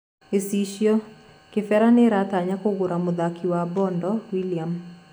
(Gĩchicio) Kĩbera nĩratanya kũgũra muthaki wa Bondo Willian.